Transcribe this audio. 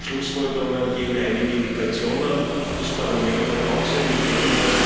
Die Schlussfolgerungen geben einige Indikationen, und das Parlament hat auch seine Ideen.